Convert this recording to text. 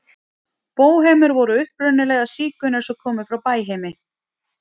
Bóhemar voru upprunalega sígaunar sem komu frá Bæheimi.